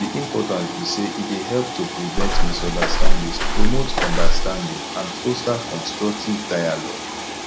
di importance be say e dey help to prevent misunderstandings promote understanding and foster constructive dialogue